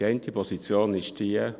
Die eine Position ist die: